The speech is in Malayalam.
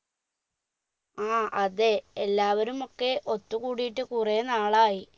ആ അതെ എല്ലാവരും ഒക്കെ ഒത്തുകൂടിയിട്ട് കുറെ നാളായി